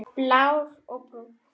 Blár og Brúnn.